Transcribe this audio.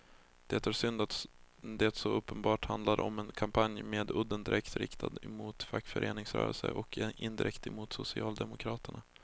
Det är synd att det så uppenbart handlar om en kampanj med udden direkt riktad mot fackföreningsrörelsen och indirekt mot socialdemokraterna.